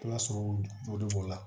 Ala sɔrɔ joli b'o la